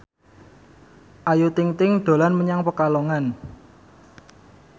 Ayu Ting ting dolan menyang Pekalongan